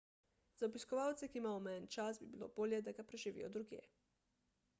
za obiskovalce ki imajo omejen čas bi bilo bolje da ga preživijo drugje